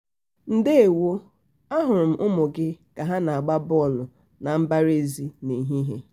ndewo! a hụrụ m ụmụ gị ka ha na-agba bọọlụ na mbara ezi n'ehihie.